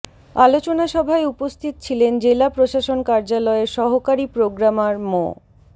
আলোচনা সভায় উপস্থিত ছিলেন জেলা প্রশাসন কার্যালয়ের সহকারী প্রোগ্রামার মো